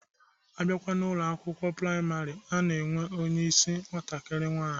Abịakwa n'Ụlọ akwụkwọ praịmarị, a na-enwe onyeisi nwatakiri nwaanyi.